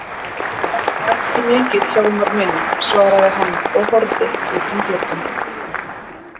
Það er nú ekki mikið Hjálmar minn, svaraði hann og horfði út um gluggann.